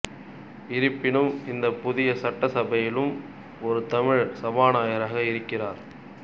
இருப்பினும் இந்தப் புதிய சட்ட சபையிலும் ஒரு தமிழர் சபாநாயகராக இருக்கிறார்